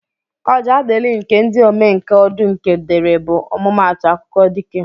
Ọjaadịlị nke ndị omenka Ọdụnke dere bụ ọmụmaatụ akụkọ dike